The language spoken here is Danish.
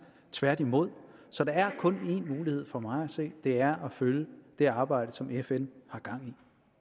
tværtimod så der er kun én mulighed for mig at se det er at følge det arbejde som fn har gang i